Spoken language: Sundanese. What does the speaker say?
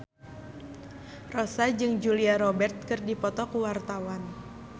Rossa jeung Julia Robert keur dipoto ku wartawan